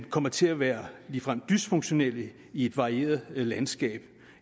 kommer til at være ligefrem dysfunktionelle i et varieret landskab